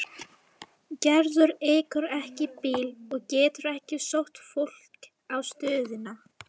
Gerður ekur ekki bíl og getur ekki sótt fólk á stöðina.